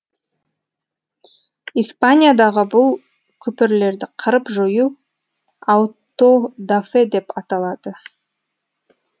испаниядағы бұл күпірлерді қырып жою ауто дафе деп аталды